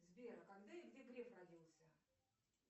сбер а когда и где греф родился